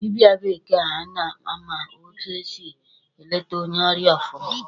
Dịbịa bekee a ma etu esị e leta onye ọrịa ọfụma.